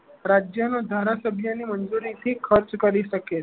રાજ્ય નો ધારા સભ્ય ની મંજૂરી થી ખર્ચ કરી શકે છે